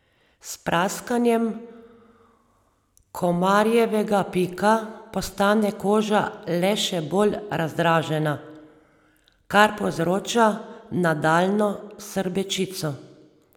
S praskanjem komarjevega pika postane koža le še bolj razdražena, kar povzroča nadaljnjo srbečico.